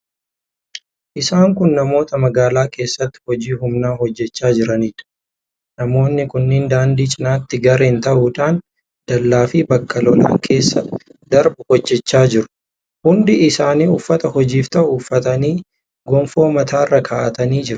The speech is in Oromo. Isaan kun namoota magaalaa keessatti hojii humnaa hojjechaa jiraniidha. Namoonni kunneen daandii cinatti gareen ta'uudhaan dallaa fi bakka lolaan keessa darbu hojjechaa jiru. Hundi isaanii uffata hojiif ta'u uffatanii, gonfoo mataarra kaa'atanii jiru.